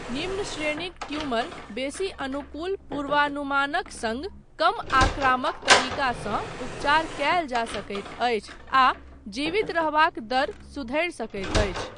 निम्न श्रेणीक ट्यूमर, बेसी अनुकूल पूर्वानुमानक सङ्ग, कम आक्रामक तरीकासँ उपचार कयल जा सकैत अछि आ जीवित रहबाक दर सुधरि सकैत अछि।